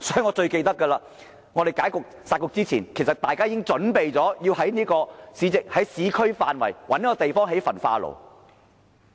我記得在"殺局"前，大家已準備在市區範圍覓地興建焚化爐。